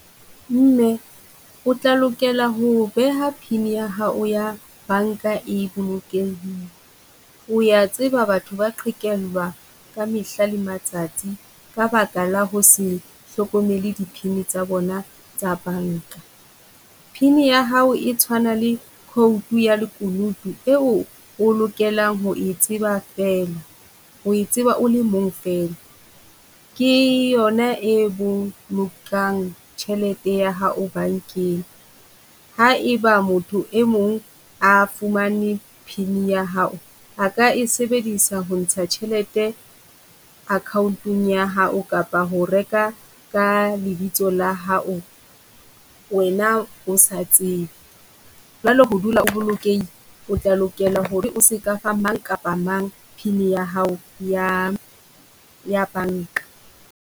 Mme o tla lokela ho beha pin ya hao ya banka e bolokehile. O ya tseba batho ba qhekellwa ka mehla le matsatsi ka baka la ho se hlokomele di pin-i tsa bona tsa banka. Pin-i ya hao e tshwana le code ya lekunutu eo o lokelang ho e tseba fela, ho e tseba o le mong fela. Ke yona e bolokang tjhelete ya hao bankeng. Ha e ba motho e mong a fumane pin-i ya hao, a ka e sebedisa ho ntsha tjhelete account-ong ya hao kapa ho reka ka lebitso la hao wena o sa tsebe. Jwale ho dula o bolokehile, o tla lokela ho re o se ka fa mang kapa mang, pin ya hao ya ya banka.